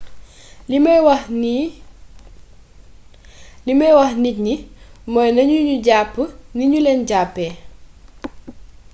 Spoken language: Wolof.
limay wax nit ñi mooy nañu ñu jàpp ni ñu leen jàppee